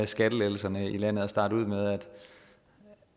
skattelettelserne i landet at starte med